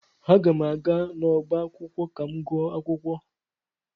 Aga m aga n'ọbá akwụkwọ ka m gụọ akwukwo.